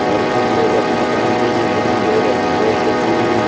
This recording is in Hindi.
और कुछ लोग अपने काम पे भी ध्यान दे रहे हैं जैसे की--